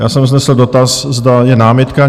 Já jsem vznesl dotaz, zda je námitka.